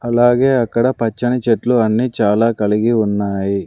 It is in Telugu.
అలాగే అక్కడ పచ్చని చెట్లు అన్నీ చాలా కలిగి ఉన్నాయి.